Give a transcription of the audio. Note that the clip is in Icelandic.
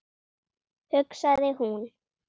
hugsaði hún.